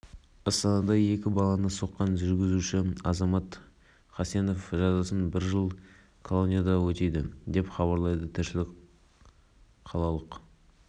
олар желтоқсанда спринттен сынға түссе желтоқсанда із кесу сайысы бойынша өнер көрсетеді ал желтоқсан күндері эстафеталық сайыстан үздіктер анықталады